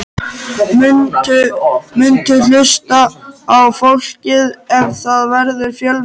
Muntu hlusta á fólkið ef það verður fjölmennt?